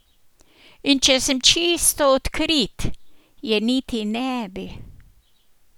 In če sem čisto odkrit, je niti ne bi.